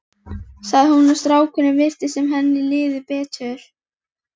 sagði hún og strákunum virtist sem henni liði betur.